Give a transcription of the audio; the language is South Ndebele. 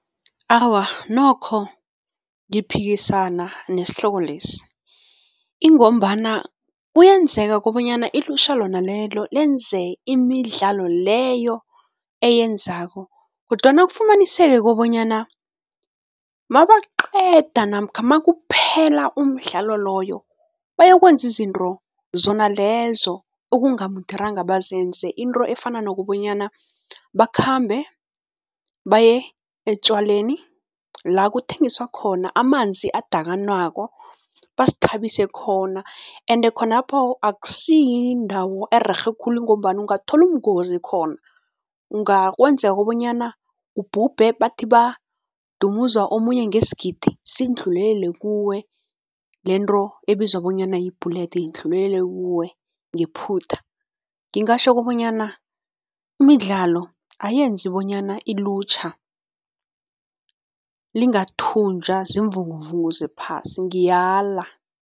Awa, nokho ngiphikisana nesihloko lesi ingombana kuyenzeka kobanyana ilutjha lona lelo lenze imidlalo leyo eyenzako kodwana kufumaniseke kobanyana mabaqeda namkha makuphela umdlalo loyo, bayokwenza izinto zona lezo okungamuderanga bazenze. Into efana nokobanyana bakhambe baye etjwaleni la kuthengiswa khona amanzi adakanwako, bazithabise khona ende khonapho akusiyindawo ererhe khulu ngombana ungathola ubungozi khona. Ungakwenza kobonyana ubhube, bathi badumuza omunye ngesigidi, sindlulelele kuwe, lento ebizwa bonyana yi-bullet indlulelele kuwe ngephutha. Ngingatjho kobanyana imidlalo ayenzi bonyana ilutjha lingathunjwa ziimvunguvungu zephasi, ngiyala.